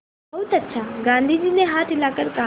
बहुत अच्छा गाँधी जी ने हाथ हिलाकर कहा